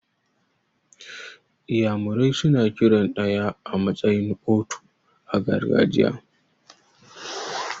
Iyamure suna kiran ɗaya a matsayin 'otu' a gargajiya.